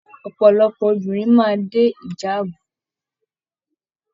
Ọpọlọpọ obìnrin máa dé ìjàábú.